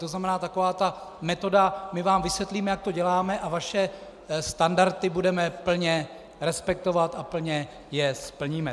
To znamená taková ta metoda - my vám vysvětlíme, jak to děláme, a vaše standardy budeme plně respektovat a plně je splníme.